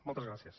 moltes gràcies